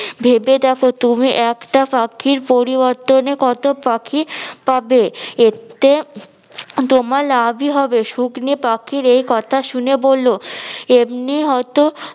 ভেবে দেখো তুমি একটা পাখির পরিবর্তনে কত পাখি পাবে এতে তোমার লাভি হবে শুকনি পাখির একথা শুনে বললো এমনি হয়তো-